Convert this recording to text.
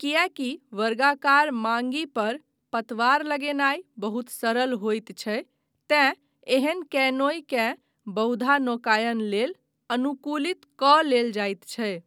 किएकी वर्गाकार माङ्गि पर पतवार लगेनाय बहुत सरल होइत छै तेँ एहन कैनोय केँ बहुधा नौकायन लेल अनुकूलित कऽ लेल जाइत छै।